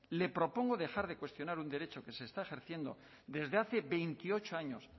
le propongo dejar de cuestionar un derecho que se está ejerciendo desde hace veintiocho años